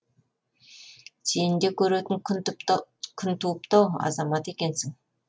сені де көретін күн туыпты ау азамат екенсің